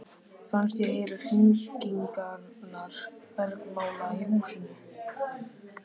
Fannst ég heyra hringingarnar bergmála í húsinu.